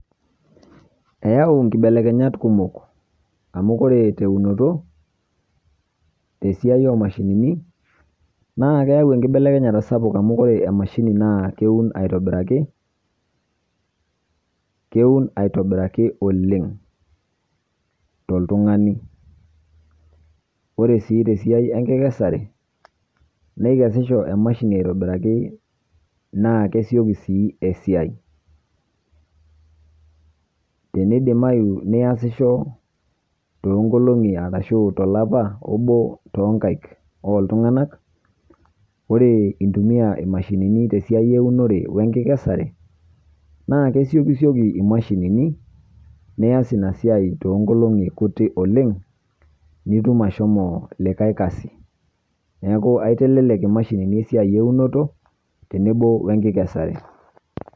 Eeyau inkibelekenyat kumok amu ore teunoto tesiai oomashinini naa keyau enkibelekenyata sapuk amu ore emashini naa keun aitobiraki kewun aitobiraki oleng toltung'ani ore sii tesiai enkikesare neikeshisho emashini aitobiraki naa kesioki sii esiai tenidimayu niasisho toonkolong'i arashuu tolapa toonkaik ooltung'anak ore intumiyq imashinini tesiai eeunore wenkikesare naa kesioki sioki imashini nias ina siai toonkolong'i kutik oleng nitum ashomo likae kazi neeku aitelelek imashinini esiai eunoto tenebo wenkikesare.